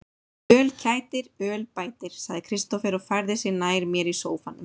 Öl kætir, öl bætir, sagði Kristófer og færði sig nær mér í sóffanum.